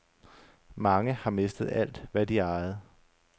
Mange har mistet alt, hvad de ejede.